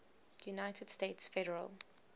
united states federal